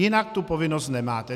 Jinak tu povinnost nemáte.